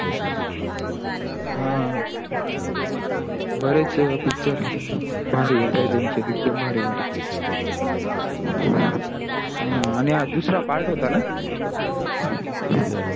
हा. बरेच picture भारी येता हे त्यांचे एकदम भारी भारी अह आणि हा दूसर part होता ना